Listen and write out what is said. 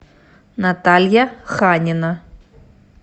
наталья ханина